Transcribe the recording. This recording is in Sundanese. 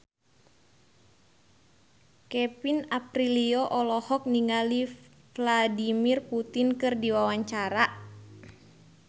Kevin Aprilio olohok ningali Vladimir Putin keur diwawancara